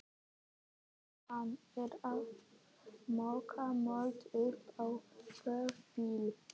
Ýtan er að moka mold upp á vörubíl.